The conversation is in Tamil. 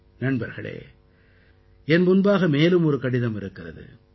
நண்பர்களே என் முன்பாக மேலும் ஒரு கடிதம் இருக்கிறது